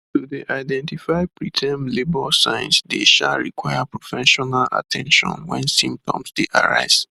to dey identify preterm labour signs dey um require professional at ten tion wen symptoms dey arise